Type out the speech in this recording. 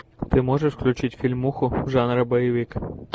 ты можешь включить фильмуху жанра боевик